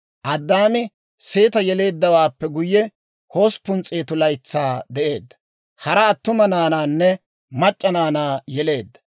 Addaami Seeta yeleeddawaappe guyye, 800 laytsaa de'eedda; hara attuma naanaanne mac'c'a naanaa yeleedda.